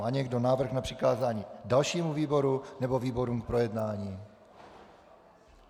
Má někdo návrh na přikázání dalšímu výboru nebo výborům k projednání?